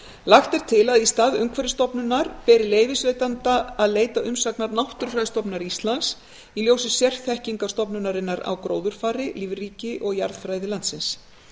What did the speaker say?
lagt er til að í stað umhverfisstofnunar beri leyfisveitanda að leita umsagnar náttúrufræðistofnunar íslands í ljósi sérþekkingar stofnunarinnar á gróðurfari lífríki og jarðfræði landsins